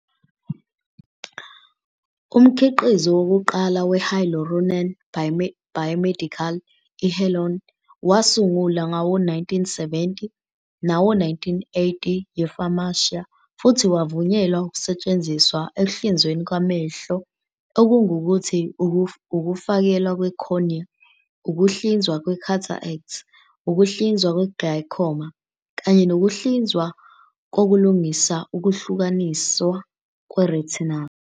Umkhiqizo wokuqala we-hyaluronan biomedical, i-Healon, wasungulwa ngawo-1970 nawo-1980 yi-Pharmacia, futhi wavunyelwa ukusetshenziswa ekuhlinzweni kwamehlo, okungukuthi, ukufakelwa kwe-cornea, ukuhlinzwa kwe-cataract, ukuhlinziwa kwe-glaucoma, kanye nokuhlinzwa kokulungisa ukuhlukaniswa kwe-retinal.